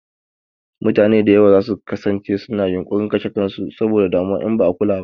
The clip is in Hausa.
Mutane da yawa za su kasance su na yunƙurin kashe kan su saboda damuwa in ba a kula ba